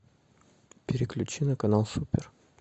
переключи на канал супер